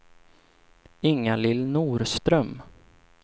Inga-Lill Norström